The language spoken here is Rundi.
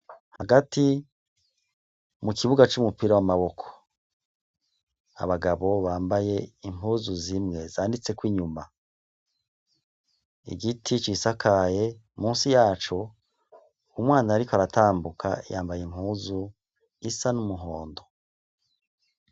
Hagati mu kibuga c'umupira w'amaboko. Abagabo bambaye impuzu zimwe zanditseko inyuma. Igiti cisakaye. Musi yaco, umwana ariko aratambuka yambaye impuzu isa n'umuhondo.